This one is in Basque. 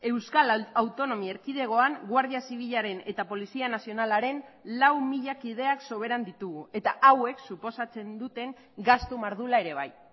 euskal autonomi erkidegoan guardia zibilaren eta polizia nazionalaren lau mila kideak soberan ditugu eta hauek suposatzen duten gastu mardula ere bai